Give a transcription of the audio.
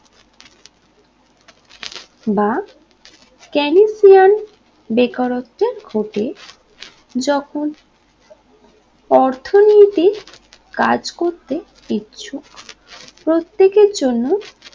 বা কেনিনবীয়ান বেকারত্বে ঢোকে যখন অর্থনীতি কাজ করতে ইচ্ছুক প্রত্যেকের জন্য